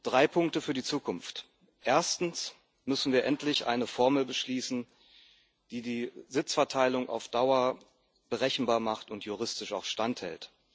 Drei Punkte für die Zukunft Erstens müssen wir endlich eine Formel beschließen, die die Sitzverteilung auf Dauer berechenbar macht und die juristisch auch standhält.